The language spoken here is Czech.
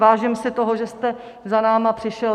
Vážím si toho, že jste za námi přišel.